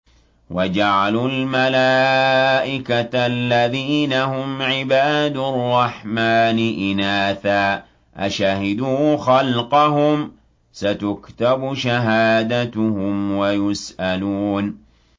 وَجَعَلُوا الْمَلَائِكَةَ الَّذِينَ هُمْ عِبَادُ الرَّحْمَٰنِ إِنَاثًا ۚ أَشَهِدُوا خَلْقَهُمْ ۚ سَتُكْتَبُ شَهَادَتُهُمْ وَيُسْأَلُونَ